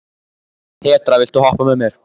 Petra, viltu hoppa með mér?